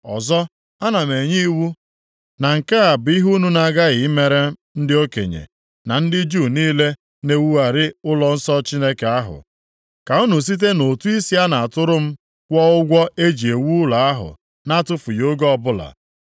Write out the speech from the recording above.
Ọzọ, ana m enye iwu na nke a bụ ihe unu na-aghaghị imere ndị okenye, na ndị Juu niile na-ewugharị ụlọnsọ Chineke ahụ. Ka unu site nʼụtụ isi a na-atụrụ m kwụọ ụgwọ e ji ewu ụlọ ahụ na-atụfughị oge ọbụla.